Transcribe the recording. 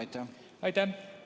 Aitäh!